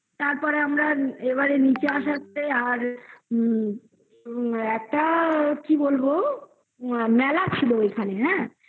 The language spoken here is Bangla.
তারপরে আমরা এবারে নিচে আসাতে আর উম একটা কি বলবো মেলা ছিল ওইখানে হ্যাঁ